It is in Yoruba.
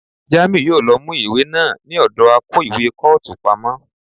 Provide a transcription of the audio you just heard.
Jamiu yòó lọ mú ìwé náà ní ọ̀dọ akó ìwé kọ́ọ̀tù pamọ́.